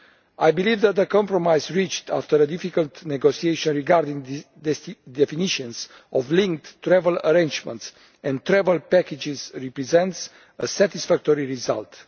I believe that the compromise reached after a difficult negotiation regarding the definitions of linked travel arrangements and travel packages represents a satisfactory result.